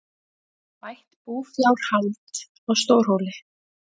Bætt búfjárhald á Stórhóli